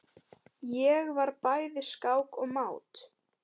Ég var bæði skák og mát.